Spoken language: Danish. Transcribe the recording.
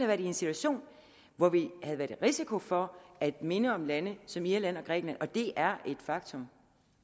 været i en situation hvor vi havde været i risiko for at minde om lande som irland og grækenland og det er et faktum